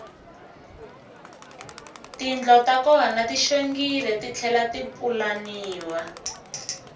tindlo ta kona ti xongile titlhela ti pulaniwa